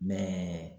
Mɛ